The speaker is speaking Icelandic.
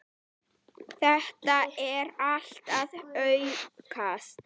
Þetta er allt að aukast.